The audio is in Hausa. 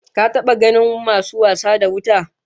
Ka taba ganin masu wasa da wuta?